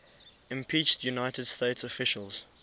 impeached united states officials